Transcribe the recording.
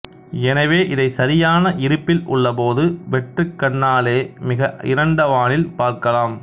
எனவே இதைச் சரியான இருப்பில் உள்ளபோது வெற்றுக்கண்ணாலேயே மிக இருண்ட வானில் பார்க்கலாம்